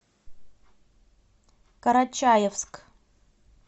карачаевск